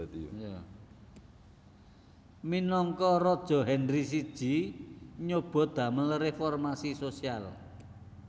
Minangka raja Henry I nyobi damel reformasi sosial